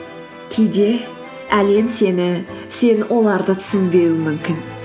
кейде әлем сені сен оларды түсінбеуің мүмкін